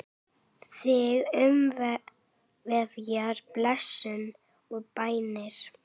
Þig umvefji blessun og bænir.